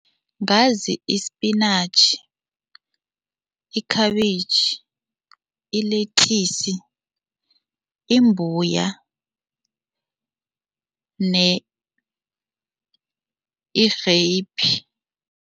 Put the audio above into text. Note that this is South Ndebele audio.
Ngazi isipinatjhi, ikhabitjhi, ilethisi, imbuya